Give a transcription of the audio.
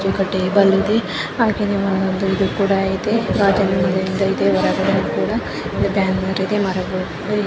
ಒಂದು ಟೇಬಲ್ ಇದೆ ಹಾಗೇನೆ ಒಂದು ಹೊರಗಡೆ ಕೂಡ ಒಂದು ಬ್ಯಾನರ್ ಇದೆ ಮರಗಳು ಕೂಡ ಇದೆ.